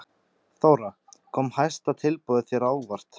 Þóra: Kom hæsta tilboðið þér á óvart?